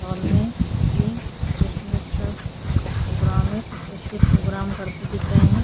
Hall में ये Christmas का प्रोग्राम में कुछ बच्चे प्रोग्राम करते दिख रहे हैं।